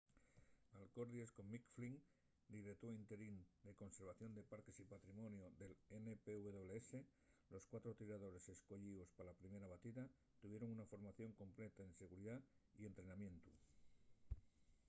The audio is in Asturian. alcordies con mick o'flynn direutor interín de conservación de parques y patrimoniu del npws los cuatro tiradores escoyíos pa la primera batida tuvieron una formación completa en seguridá y entrenamientu